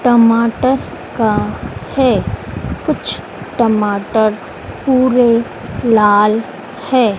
टमाटर का है। कुछ टमाटर पूरे लाल है।